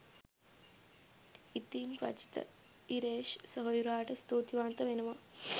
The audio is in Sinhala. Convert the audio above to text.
ඉතිං රචිත ඉරේෂ් සෙහොයුරාට ස්තූතිවන්ත වෙනවා